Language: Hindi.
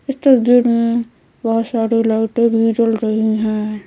इस तस्वीर में बहुत सारी लाइटें भी जल रही हैं।